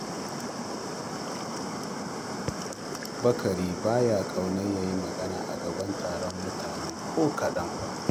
Bakari ba ya ƙaunar ya yi magana a gaban taron mutane ko kaɗan fa